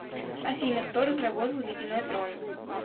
афина кто разработал ледяной трон